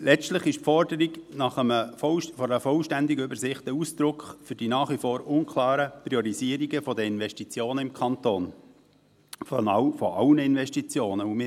Letztlich ist die Forderung nach einer vollständigen Übersicht Ausdruck für die nach wie vor unklaren Priorisierungen der Investitionen – aller Investitionen – im Kanton.